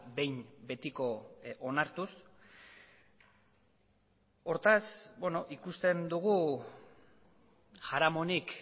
behin betiko onartuz hortaz ikusten dugu jaramonik